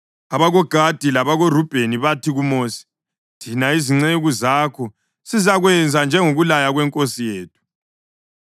AbakoGadi labakoRubheni bathi kuMosi, “Thina izinceku zakho sizakwenza njengokulaya kwenkosi yethu.